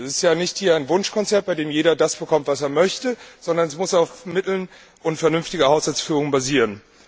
Es ist hier ja kein Wunschkonzert, bei dem jeder das bekommt, was er möchte, sondern es muss auf Mitteln und vernünftiger Haushaltsführung basieren.